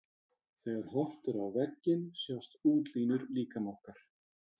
Þegar horft er á vegginn sjást útlínur líkama okkar.